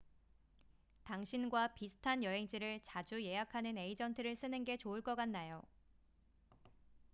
당신과 비슷한 여행지를 자주 예약하는 에이전트를 쓰는 게 좋을 것 같네요